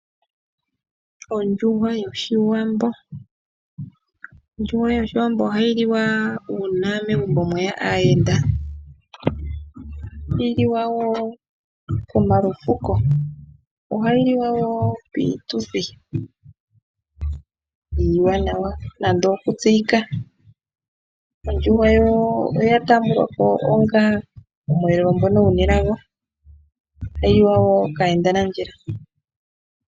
Ondjuhwa yoshiwambo ,ondjuhwa yoshiwambo ohayi liwa una megumbo mweya aayenda, ohayi liwa wo komalufuko, ohayi liwa wo piituthi iiwanawa nande okutseyika, ondjuhwa yo oyatambwa ko onga oshiyelelwa shoka shina elago yo ohayi liwa wo kayenda nandjila.